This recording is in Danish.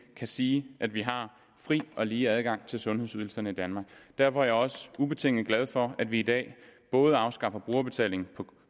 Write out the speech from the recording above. kan sige at vi har fri og lige adgang til sundhedsydelserne i danmark derfor er jeg også ubetinget glad for at vi i dag både afskaffer brugerbetaling for